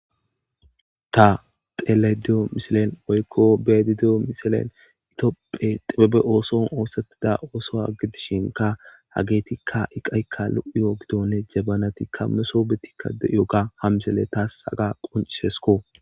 Ta tele deyo misilen woykko beedideyo misilen itoopphe xephebe ooson oosattida oosoa gidishinka hageetikka iqaykka lu'uyo gidonne jabanatikka meso betikka dyoga hamisele taas haga quncisesko.